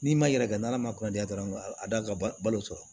N'i ma yɛrɛ kɛ n'ala ma kɔnɔdiya dɔrɔn a d'an ka balo sɔrɔ